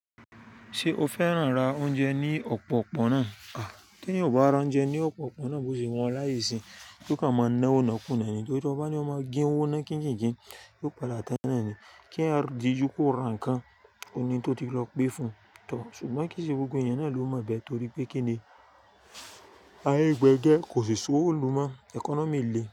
Ṣé o fẹ́ràn ra oúnjẹ ní ọ̀pọ̀ ọ̀pọ̀ náà? Teeyan ò bá ra oúnjẹ ní ọ̀pọ̀ ọ̀pọ̀ náà bó se maa raye sí, yóò kàn máa ná'wọ́ n'nákùnà nì. Torí tí ọ ba ni ó máa gín owó náà kí ń kìn kìn, yóò padà tán náà ni. Keeyán dijú kò ra ǹkan, òun ní tó ti lọ pé fún tọ̀. Ṣùgbọ́n kí se gbogbo ènìyàn náà ló mọ̀ bẹ́ẹ̀ torí pé kí ni ayé gbẹ́gẹ́ kò sì ṣòwo nlu mo economy le.